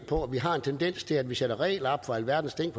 på at vi har en tendens til at vi sætter regler op for alverdens ting